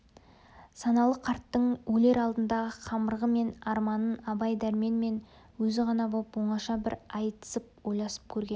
саналы қарттың өлер алдындағы қамырығы мен арманын абай дәрмен мен өзі ғана боп оңаша бір айтысып ойласып көрген